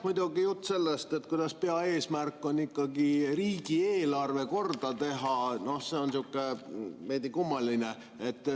Muidugi jutt sellest, kuidas peaeesmärk on riigieelarve korda teha, on sihuke veidi kummaline.